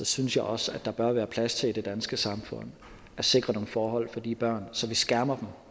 synes jeg også at der bør være plads til i det danske samfund at sikre nogle forhold for de børn så vi skærmer